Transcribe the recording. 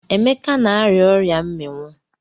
Emeka na-arịa ọria mmiwụ.